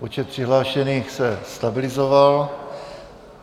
Počet přihlášených se stabilizoval.